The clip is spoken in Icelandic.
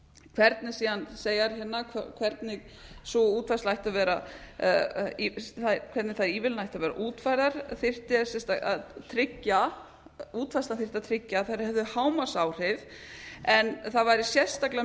hvernig síðan segja þeir hérna hvernig sú útfærsla ætti að vera hvernig þær ívilnanir ættu að vera útfærðar þyrfti að tryggja útfærslan þyrfti að tryggja að þær hefðu hámarksáhrif en það væri sérstaklega